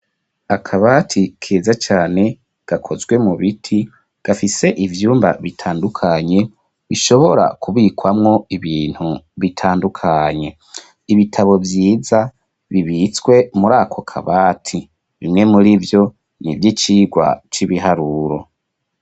Akabati keza cane, gakozwe mu biti, gafise ivyumba, bitandukanye, bishobora kubikwamwo, ibintu bitandukanye; ibitabo vyiza, bibitswe muri ako kabati, bimwe muri vyo, ni ivy'icigwa c'ibiharuro.